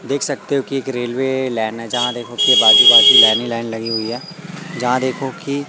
देख सकते हो कि एक रेलवे लाइन है जहां देखो कि आजू बाजू लाइन ही लाइन लगी हुई है जहां देखो कि --